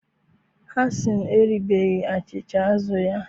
Hasan eribeghị achịcha azụ̀ ya